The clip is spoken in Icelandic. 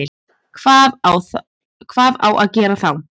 Hvað á að gera þá?